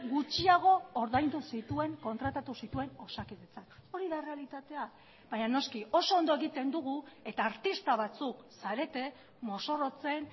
gutxiago ordaindu zituen kontratatu zituen osakidetzak hori da errealitatea baina noski oso ondo egiten dugu eta artista batzuk zarete mozorrotzen